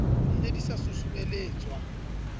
di ne di sa susumeletswa